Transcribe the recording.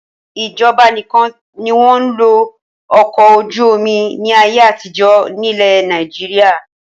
Ìjọba nìkan ni wọn ń lo Ọkọ̀-ojú-omi ni ayé àtijọ́ ni ilẹ̀ Nàìjíríà